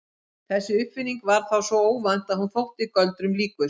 Þessi uppfinning var þá svo óvænt að hún þótti göldrum líkust.